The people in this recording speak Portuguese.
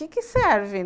Que que serve?